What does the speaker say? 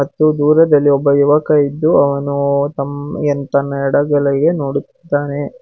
ಮತ್ತು ದೂರದಲ್ಲಿ ಒಬ್ಬ ಯುವಕ ಇದ್ದು ಅವನು ತಮ್ ಎನ್ ತನ್ನ ಎಡಗಡೆಗೆ ನೋಡುತ್ತಿದ್ದಾನೆ.